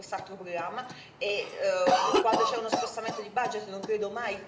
quando c'è uno spostamento di budget non credo mai che sia una cosa positiva.